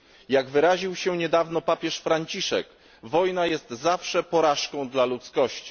Jak wyraził się niedawno papież Franciszek, wojna jest zawsze porażką dla ludzkości.